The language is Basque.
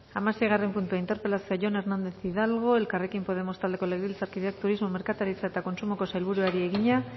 hamaseigarren puntua interpelazioa jon hernández hidalgo elkarrekin podemos taldeko legebiltzarkideak turismo merkataritza eta kontsumoko sailburuari egina